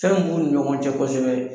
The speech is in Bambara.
Fɛn min b'u ni ɲɔgɔn cɛ kɔsɛbɛ